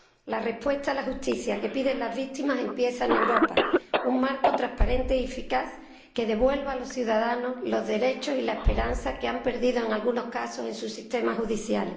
La respuesta a la justicia que piden las víctimas empieza en Europa un marco transparente y eficaz que devuelva a los ciudadanos los derechos y la esperanza que han perdido, en algunos casos, en su sistema judicial.